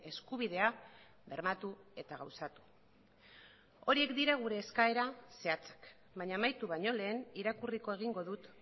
eskubidea bermatu eta gauzatu horiek dira gure eskaera zehatzak baina amaitu baino lehen irakurriko egingo dut